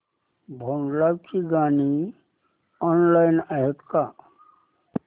भोंडला ची गाणी ऑनलाइन आहेत का